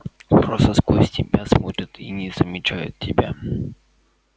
просто сквозь тебя смотрят и не замечают тебя